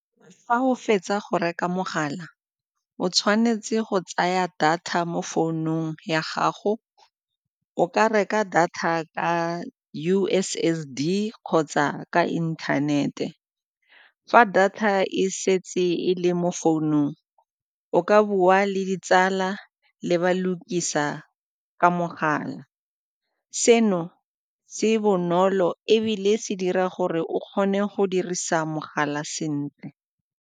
Fa o fetsa go reka mogala, o tshwanetse go tsaya data mo founung ya gago, o ka reka data ka U_S_S_D kgotsa ka internet-e. Fa data e setse e le mo founung o ka bua le ditsala le ba lukisa ka mogala, seno tse bonolo ebile se dira gore o kgone go dirisa mogala sentle.